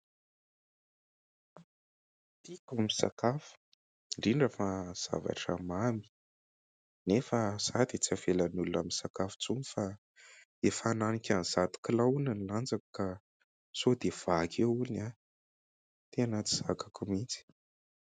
Tiko ny misakafo. Indrindra fa zavatra mamy, nefa izaho tsy avelan'olona misakafo instony fa efa hananika ny zato kilao hono ny lanjako, ka sao dia vaky eo hono aho. Tena tsy zakako mihitsy.